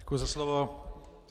Děkuji za slovo.